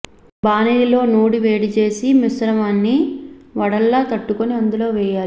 బాణలిలో నూనె వేడిచేసి ఈ మిశ్రమాన్ని వడల్లా తట్టుకుని అందులో వేయాలి